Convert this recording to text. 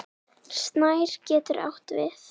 Snær getur átt við